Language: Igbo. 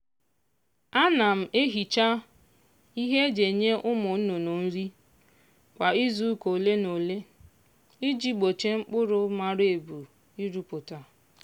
ana m ehicha ihe e ji enye ụmụ nnụnụ nri kwa izuụka ole na ole iji gbochie mkpụrụ mara ebu irupụta.